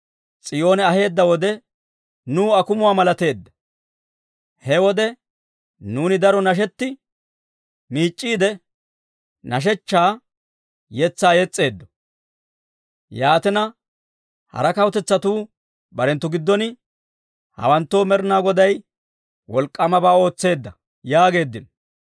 He wode nuuni daro nashetti, miic'c'iide, nashshechchaa yetsaa yes's'eeddo. Yaatina, hara kawutetsatuu barenttu giddon, «Hawanttoo Med'inaa Goday wolk'k'aamabaa ootseedda» yaageeddino.